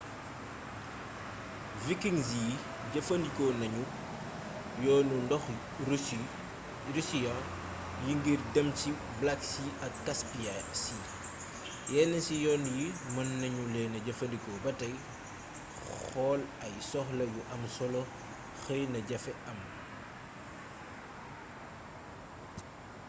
vikings yi jëfandiko nañu yoonu ndoxu russian yi ngir dem ci black sea ak caspia sea yénn ci yoon yi mën nañuleena jëfandiko batay xool ay soxla yu amsolo xëy na jaafee am